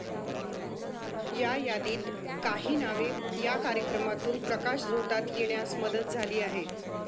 या यादीत काही नावे या कार्यक्रमातून प्रकाशझोतात येण्यास मदत झाली आहे.